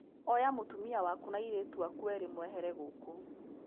Oya mũtumia waku na airĩtu aku erĩ mwehere gũkũ